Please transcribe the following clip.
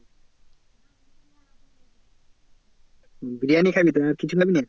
বিরিয়ানি খাবি আর কিছু খাবি না।